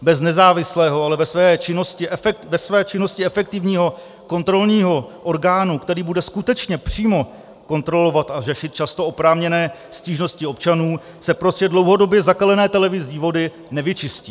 Bez nezávislého, ale ve své činnosti efektivního kontrolního orgánu, který bude skutečně přímo kontrolovat a řešit často oprávněné stížnosti občanů, se prostě dlouhodobě zakalené televizní vody nevyčistí.